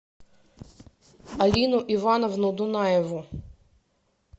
алину ивановну дунаеву